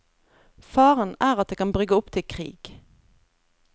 Faren er at det kan brygge opp til krig.